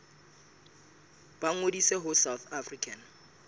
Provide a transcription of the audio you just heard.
ba ngodise ho south african